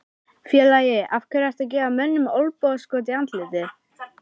Félagi, af hverju ertu að gefa mönnum olnbogaskot í andlitið?